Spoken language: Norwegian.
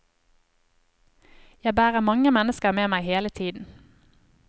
Jeg bærer mange mennesker med meg hele tiden.